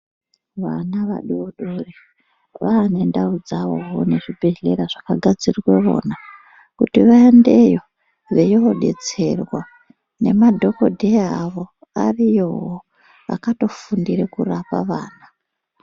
vana vadodori vane ndau dzavowo nezvibhehela zvakagadzirirwe vona kutii vaendeyo veinobetserwa nemadhokeodheya avo ariyowo akatofundira kurapa vana